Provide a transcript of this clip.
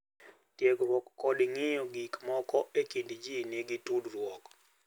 tiegruok kod ng’iyo gik moko e kind ji nigi tudruok.